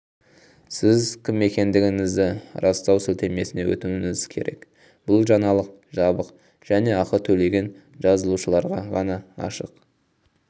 сіз кім екендігіңізді растау сілтемесіне өтуіңіз керек бұл жаңалық жабық және ақы төлеген жазылушыларға ғана ашық